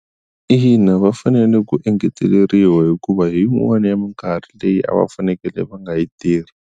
Ina va fanele ku engeteleriwa hikuva hi yin'wana ya mikarhi leyi a va fanekele va nga yi tirhi.